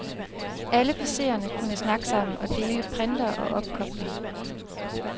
Alle PCerne kunne snakke sammen og dele printere og opkobling.